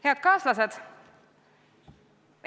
Head kaaslased!